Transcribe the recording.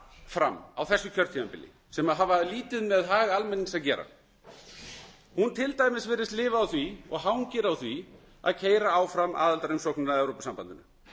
fram á þessu kjörtímabili sem hafa lítið með hag almennings að gera hún virðist til dæmis lifa á því hangir á því að keyra áfram aðildarumsóknina að evrópusambandinu